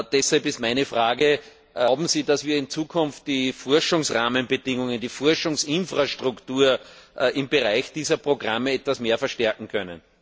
Deshalb ist meine Frage Glauben Sie, dass wir in Zukunft die Forschungsrahmenbedingungen und die Forschungsinfrastruktur im Bereich dieser Programme etwas mehr verstärken können?